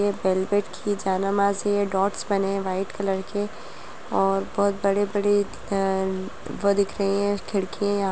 ये वेलवेट की जानमाज़ है डॉट्स बने हैं वाइट कलर के और बहुत बड़े-बड़े वो दिख रही हैं खिड़कियाँ--